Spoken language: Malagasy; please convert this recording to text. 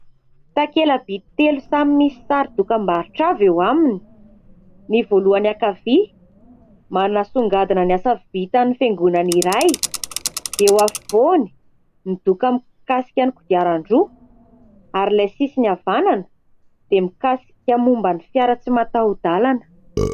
Takela-by telo samy misy sary dokam-barotra avy eo aminy : ny voalohany ankavia, manasongadina ny asa vitan'ny fiangonana iray, ny eo afovoany, ny doka mikasika ny kodiaran-droa ary ilay sisiny havanana dia mikasika momban'ny fiara tsy mataho-dàlana.